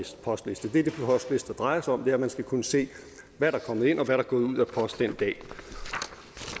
postlister drejer sig om er at man skal kunne se hvad der er kommet ind og hvad der er gået ud af post den dag